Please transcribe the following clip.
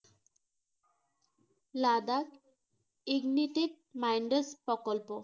Ladakh Ignetic minds প্রকল্প